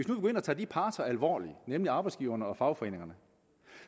nu går ind og tager de parter alvorligt nemlig arbejdsgiverne og fagforeningerne